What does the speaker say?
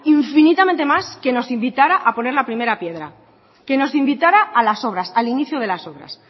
infinitamente más que nos invitara a poner la primera piedra que nos invitara a las obras al inicio de las obras